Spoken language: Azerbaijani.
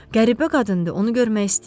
Qəribə qadındır, onu görmək istəyirəm.